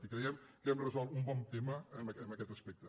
i creiem que hem resolt un bon tema en aquest aspecte